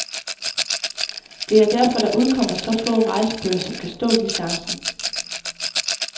Det er derfor, der udkommer så få rejsebøger, som kan stå distancen.